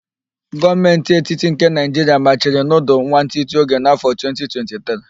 Gọọmentị etiti nke Naịjiria machiri nudul nwantịtị oge n'afọ 2023